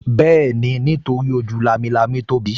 Bẹ́ẹ̀ni, nítorí ojú lámilámi tóbi